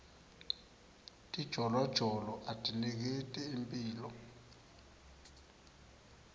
tijolojolo atiniketi imphilo